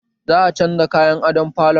Za a canza kayan adon falon